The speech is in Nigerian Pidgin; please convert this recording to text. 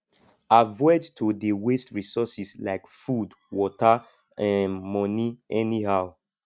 avoid to dey waste resources like food water um money anyhow